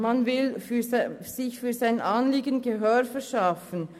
Man will seinem Anliegen Gehör verschaffen.